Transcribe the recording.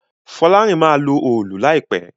Folarin má lọ Òòlù láìpé